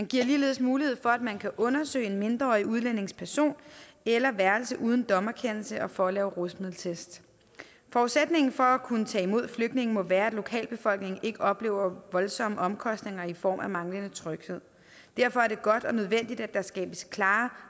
gives ligeledes mulighed for at man kan undersøge en mindreårig udlændings person eller værelse uden dommerkendelse og mulighed for at lave rusmiddeltest forudsætningen for at kunne tage imod flygtninge må være at lokalbefolkningen ikke oplever voldsomme omkostninger i form af manglende tryghed derfor er det godt og nødvendigt at der skabes klare